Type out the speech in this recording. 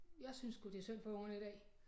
Jeg synes sgu det synd for ungerne i dag